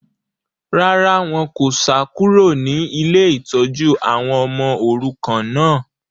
Rárá, wọn kò sá kúrò ní ilé ìtọ́jú àwọn ọmọ òrukàn náà